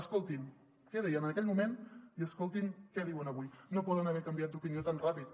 escoltin què deien en aquell moment i escoltin què diuen avui no poden haver canviat d’opinió tan ràpid